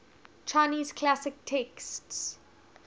chinese classic texts